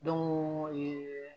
Don go ye